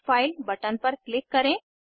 online test pass करने वालों को प्रमाणपत्र देते हैं